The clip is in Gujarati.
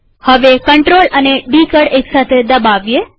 હવે CTRL અને ડી કળ એક સાથે દબાવીએ